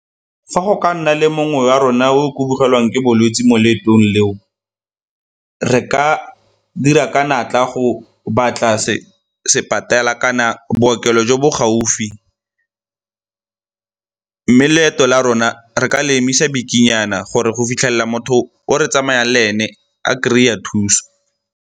Fa go ka nna le mongwe wa rona o ke bolwetse mo leetong leo re ka dira ka natla go batla kana bookelo jo bo gaufi mme leeto la rona re ka le emisa bikinyana gore go fitlhelela motho o re tsamayang le ene a kry-a thuso.